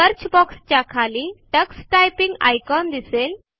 search box च्या खाली text typing icon दिसेल